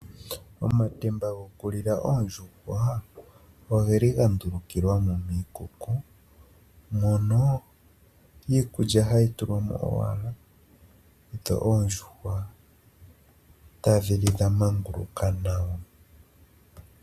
Omatemba gokulila oondjuhwa ogeli gandulukilwamo miikuku, mono iikulya hayi tukwamo owala , dho oondjuhwa tadhi li dhamanguluka nawa.